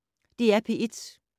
DR P1